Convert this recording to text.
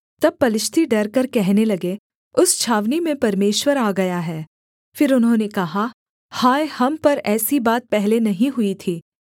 तब पलिश्ती डरकर कहने लगे उस छावनी में परमेश्वर आ गया है फिर उन्होंने कहा हाय हम पर ऐसी बात पहले नहीं हुई थी